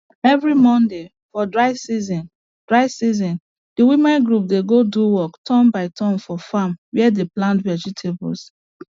every monday for dry season dry season the women group dey go do work turn by turn for farm where they plant vegetables